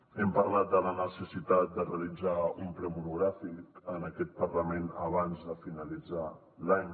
hem parlat de la necessitat de realitzar un ple monogràfic en aquest parlament abans de finalitzar l’any